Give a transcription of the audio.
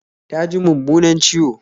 Ta ji mummunan ciwo